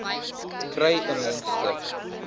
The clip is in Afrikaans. kry n mondstuk